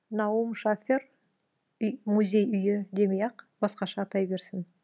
наум шафер мүзей үйі демей ақ басқаша атай берсін